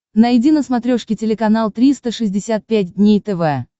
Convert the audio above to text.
найди на смотрешке телеканал триста шестьдесят пять дней тв